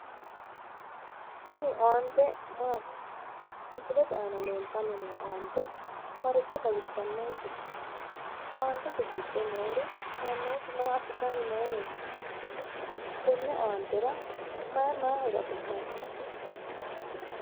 Tini aante maati? misileeti aana leeltanni no aante maricho xawissanonkete? aantete giddo nori mannooti maa assitanni nooreeti tenne aantera may may horo afi'nanni?